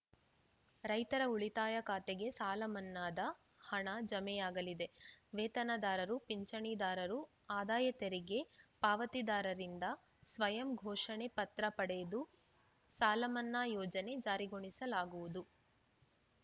ರೈತರ ಉಳಿತಾಯ ಖಾತೆಗೆ ಸಾಲಮನ್ನಾದ ಹಣ ಜಮೆಯಾಗಲಿದೆ ವೇತನದಾರರು ಪಿಂಚಣಿದಾರರು ಆದಾಯತೆರಿಗೆ ಪಾವತಿದಾರರಿಂದ ಸ್ವಯಂ ಘೋಷಣೆ ಪತ್ರ ಪಡೆದು ಸಾಲಮನ್ನಾ ಯೋಜನೆ ಜಾರಿಗೊಳಿಸಲಾಗುವುದು